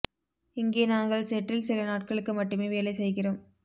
இங்கே நாங்கள் செட்டில் சில நாட்களுக்கு மட்டுமே வேலை செய்கிறோம்